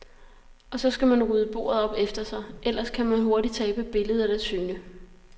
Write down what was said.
Og så skal man rydde bordet op efter sig, ellers kan man hurtigt tabe billedet af syne.